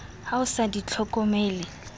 ha o sa di hlokomele